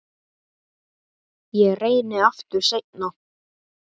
Ég reyni aftur seinna